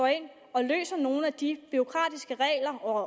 og løser nogle af de bureaukratiske regler og